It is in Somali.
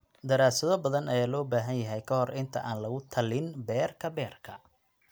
Daraasado badan ayaa loo baahan yahay ka hor inta aan lagu tallin beerka beerka.